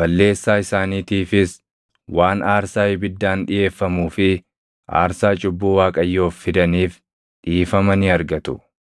balleessaa isaaniitiifis waan aarsaa ibiddaan dhiʼeeffamuu fi aarsaa cubbuu Waaqayyoof fidaniif dhiifama ni argatu.